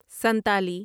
Santali